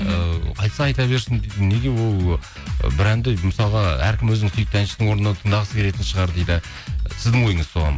ыыы айтса айта берсін неге ол ы бір әнді мысалға әркім өзінің сүйікті әншісінің орындауына тыңдағысы келетін шығар дейді сіздің ойыңыз соған